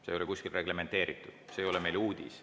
See ei ole kuskil reglementeeritud, see ei ole meile uudis.